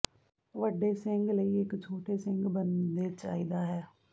ਵੱਡੇ ਸਿੰਗ ਲਈ ਇੱਕ ਛੋਟੇ ਸਿੰਗ ਬਣਦੇ ਚਾਹੀਦਾ ਹੈ